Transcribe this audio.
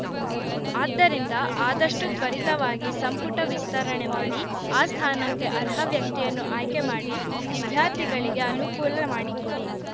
ಆದ್ದರಿಂದ ಆದಷ್ಟು ತ್ವರಿತವಾಗಿ ಸಂಪುಟ ವಿಸ್ತರಣೆ ಮಾಡಿ ಆ ಸ್ಥಾನಕ್ಕೆ ಅರ್ಹ ವ್ಯಕ್ತಿಯನ್ನು ಆಯ್ಕೆ ಮಾಡಿ ವಿದ್ಯಾರ್ಥಿಗಳಿಗೆ ಅನುಕೂಲ ಮಾಡಿಕೊಡಿ